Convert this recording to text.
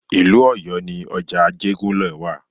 Ìlú Ọ̀yọ́ ni ọjà Ajégúnlẹ̀ wa.